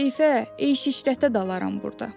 Keyfə, eş-işrətə dalaram burda.